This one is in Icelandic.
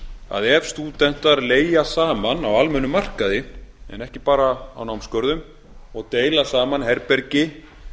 að ef stúdentar leigja saman á almennum markaði en ekki bara á námsgörðum og deila saman herbergi